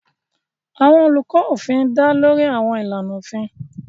Àwọn olùkọ́ òfin dá lórí àwọn ìlànà òfin.